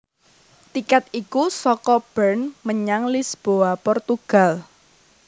Tikèt iku saka Bern menyang Lisboa Portugal